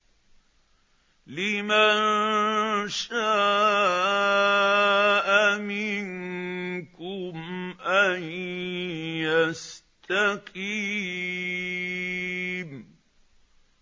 لِمَن شَاءَ مِنكُمْ أَن يَسْتَقِيمَ